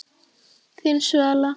Þín Svala.